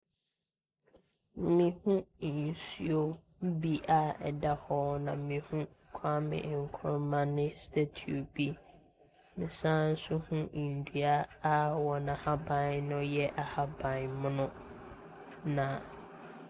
Mehu nsuo bi a ɛda hɔ na mehu Kwame Nkuruma ne statue bi. Mesan nso hu nnua a wɔn ahaban no yɛ ahaban mono, na .